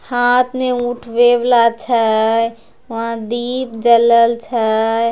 हाथ मे उठवेवला छय वहा दीप जलाल छय |